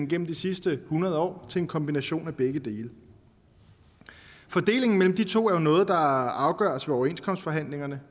gennem de sidste hundrede år til en kombination af begge dele og fordelingen mellem de to er jo noget der afgøres ved overenskomstforhandlingerne